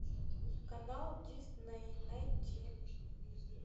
канал дисней найти